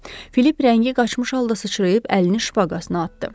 Filip rəngi qaçmış halda sıçrayıb əlini şpaqasına atdı.